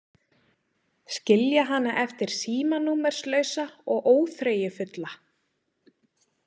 Skilja hana eftir símanúmerslausa og óþreyjufulla.